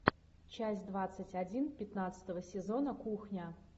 часть двадцать один пятнадцатого сезона кухня